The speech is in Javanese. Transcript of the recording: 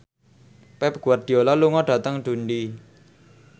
Pep Guardiola lunga dhateng Dundee